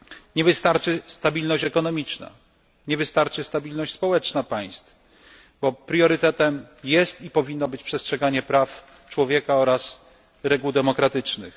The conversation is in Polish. Nie wystarczy stabilność ekonomiczna, nie wystarczy stabilność społeczna państw, bo priorytetem jest, i powinno być, przestrzeganie praw człowiek oraz reguł demokratycznych.